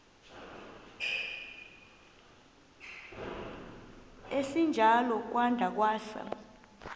esinjalo kwada kwasa